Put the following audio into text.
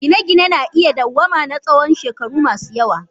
Gine-gine na iya dawwama na tsawon shekaru masu yawa.